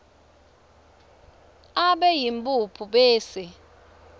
abe yimphuphu bese